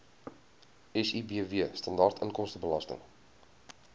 sibw standaard inkomstebelasting